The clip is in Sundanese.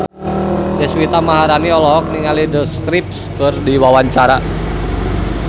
Deswita Maharani olohok ningali The Script keur diwawancara